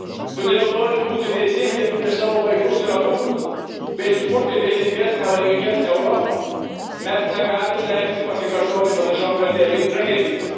Todėl, norint būti teisingiems prieš savo vaikus ir anūkus bei sukurti teisingesnę laimingesnę Europą, mes negalime leisti pasikartoti panašioms tragedijoms.